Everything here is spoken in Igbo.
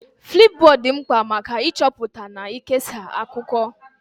Flipbod dị mkpa maka ịchọpụta na ikesa akụkọ.